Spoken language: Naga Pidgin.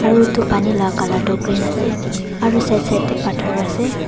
Aro etu pani la colour tu green ase aro side side te bhator ase.